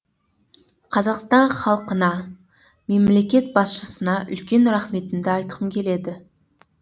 қазақстан халқына мемлекет басшысына үлкен рахметімді айтқым келеді